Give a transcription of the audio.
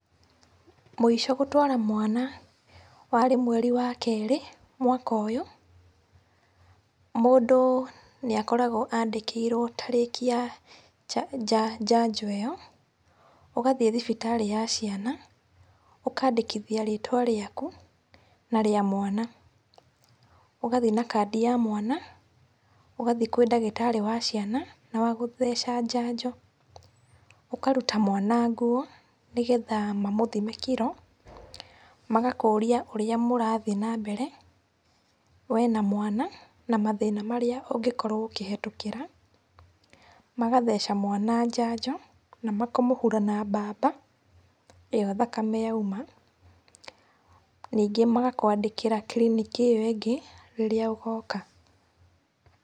Mũico gũtwara mwana warĩ mweri wa kerĩ mwaka ũyũ. Mũndũ nĩ akoragwo andĩkĩirwo tariki ya njanjo ĩyo. Ũgathiĩ thibitarĩ ya ciana, ũkandĩkithia rĩtwa rĩaku na rĩa mwana, ũgathiĩ na kandi ya mwana, ũgathiĩ kwĩ ndagitarĩ wa ciana na wa gũtheca njanjo. Ũkaruta mwana nguo nĩ getha mamũthime kiro. Magakũria ũrĩa mũrathiĩ na mbere we na mwana, na mathĩna marĩa ũngĩkorwo ũkĩhitũkĩra. Magatheca mwana njanjo na makamũhura na mbamba ĩyo thakame yauma. Nĩngĩ magakwandĩkĩra kiriniki ĩyo ĩngĩ rĩrĩa ũgoka.